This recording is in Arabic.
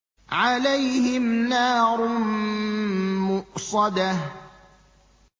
عَلَيْهِمْ نَارٌ مُّؤْصَدَةٌ